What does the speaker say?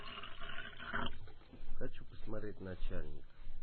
хочу посмотреть начальник